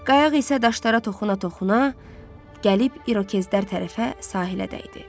Qayıq isə daşlara toxuna-toxuna gəlib İrokezlər tərəfə sahilə dəydi.